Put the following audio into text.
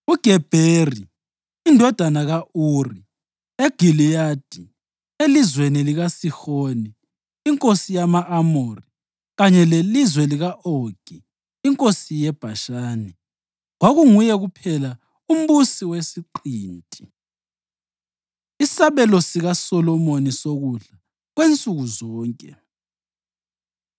uGebheri indodana ka-Uri eGiliyadi (elizweni likaSihoni inkosi yama-Amori kanye lelizwe lika-Ogi inkosi yeBhashani). Kwakunguye kuphela umbusi wesiqinti. Isabelo SikaSolomoni Sokudla Kwensuku Zonke